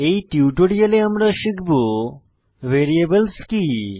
এই টিউটোরিয়ালে আমরা শিখব ভ্যারিয়েবলস কি160